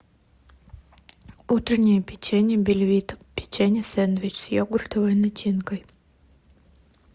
утреннее печенье бельвита печенье сэндвич с йогуртовой начинкой